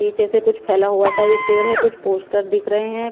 पीछे से कुछ फैला हुआ सा एक पेड़ हैं कुछ पोस्टर दिख रहे हैं।